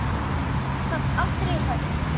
Samt aldrei hörð.